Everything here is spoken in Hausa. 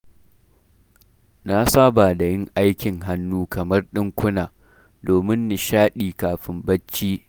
Na saba da yin aikin hannu kamar; ɗinkuna, domin nishaɗi kafin barci.